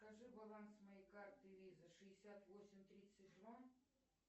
скажи баланс моей карты виза шестьдесят восемь тридцать два